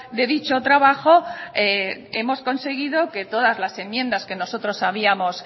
de dicho trabajo hemos conseguido que todas las enmiendas que nosotros habíamos